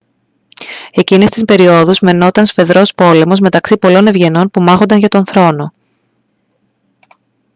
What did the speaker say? εκείνες τις περιόδους μαινόταν σφοδρός πόλεμος μεταξύ πολλών ευγενών που μάχονταν για τον θρόνο